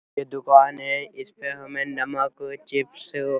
ये दुकान है इसमें हमे नमक चिप्स --